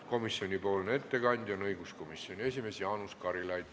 Komisjoni ettekandja on õiguskomisjoni esimees Jaanus Karilaid.